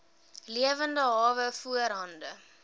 lewende hawe voorhande